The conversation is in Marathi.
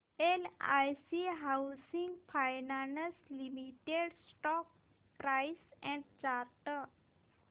LIC housing finance limited stock price and chart